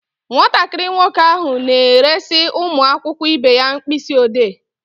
Nwatakịrị nwoke ahụ na-eresị ụmụ akwụkwọ ibe ya mkpịsị ọdee.